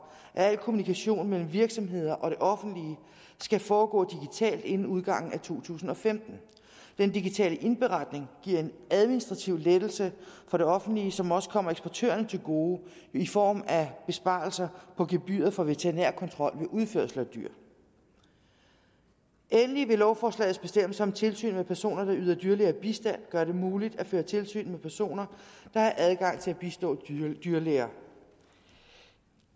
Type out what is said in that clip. at al kommunikation mellem virksomheder og det offentlige skal foregå digitalt inden udgangen af to tusind og femten den digitale indberetning giver en administrativ lettelse for det offentlige som også kommer eksportørerne til gode i form af besparelser på gebyret for veterinærkontrol ved udførsel af dyr endelig vil lovforslagets bestemmelser om tilsyn med personer der yder dyrlæger bistand gøre det muligt at føre tilsyn med personer der har adgang til at bistå dyrlæger